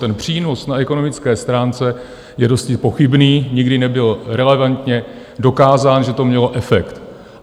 Ten přínos na ekonomické stránce je dosti pochybný, nikdy nebyl relevantně dokázán, že to mělo efekt.